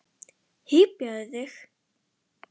Hypjaðu þig!